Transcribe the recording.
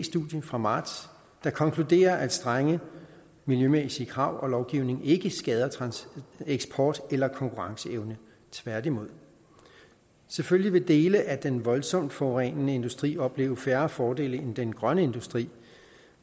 studie fra marts der konkluderer at strenge miljømæssige krav og lovgivning ikke skader eksport eller konkurrenceevne tværtimod selvfølgelig vil dele af den voldsomt forurenende industri opleve færre fordele end den grønne industri